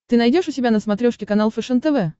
ты найдешь у себя на смотрешке канал фэшен тв